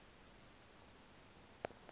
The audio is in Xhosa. le ntetho ke